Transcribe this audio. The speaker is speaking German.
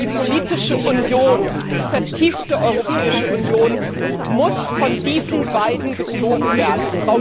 Die politische Union, die vertiefte Europäische Union muss von diesen beiden gezogen werden.